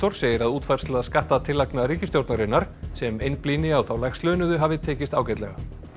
segir að útfærsla skattatillagna ríkisstjórnarinnar sem einblíni á þá lægst launuðu hafi tekist ágætlega